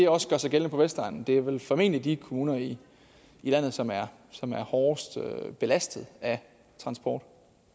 også gør sig gældende på vestegnen det er formentlig de kommuner i landet som er som er hårdest belastet af transport